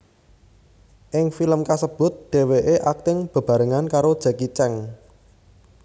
Ing film kasebut dheweké akting bebarengan karo Jacky Cheung